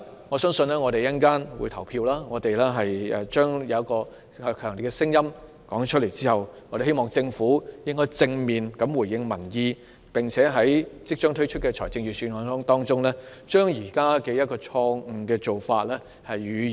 我們稍後便會投票，在我們表達出強烈的聲音之後，希望政府能夠正面回應民意，並且在即將發表的財政預算案中，修正現時的錯誤做法。